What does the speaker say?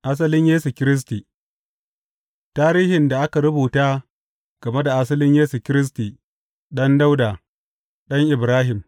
Asalin Yesu Kiristi Tarihin da aka rubuta game da asalin Yesu Kiristi ɗan Dawuda, ɗan Ibrahim.